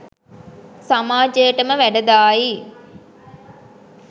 සමාජයටම වැඩදායි,